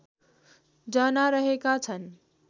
जना रहेका छन्